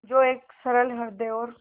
जो एक सरल हृदय और